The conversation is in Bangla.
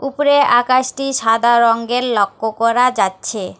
উপরে আকাশটি সাদা রঙ্গের লক্য করা যাচ্ছে।